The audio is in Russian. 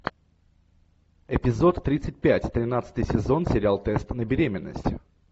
эпизод тридцать пять тринадцатый сезон сериал тест на беременность